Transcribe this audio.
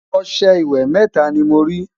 ọsẹ ìwé mẹta ní mọ rí